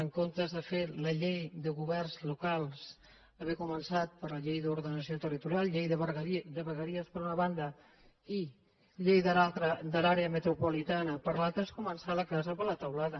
en comptes de fer la llei de governs locals haver començat per la llei d’ordenació territorial llei de vegueries per una banda i llei de l’àrea metropolitana per l’altra és començar la casa per la teulada